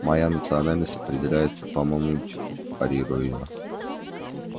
моя национальность определяется по мамульчику парирую я